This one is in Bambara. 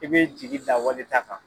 I bɛ jigida wale ta kan.